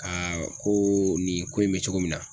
Aa ko nin ko in be cogo min na